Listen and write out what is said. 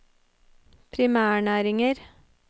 primærnæringer